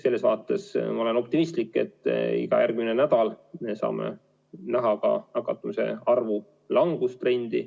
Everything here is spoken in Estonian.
Selles mõttes ma olen optimistlik, et iga järgmine nädal me saame näha ka nakatumiste arvu langustrendi.